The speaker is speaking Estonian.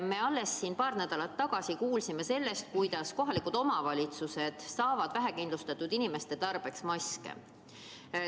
Me alles paar nädalat tagasi kuulsime, et kohalikud omavalitsused saavad vähekindlustatud inimeste tarbeks maske.